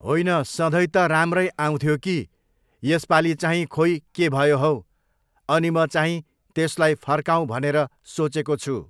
होइन सधैँ त राम्रै आउँथ्यो कि, यसपालि चाहिँ खोइ के भयो हौ, अनि म चाहिँ त्यसलाई फर्काउँ भनेर सोचेको छु।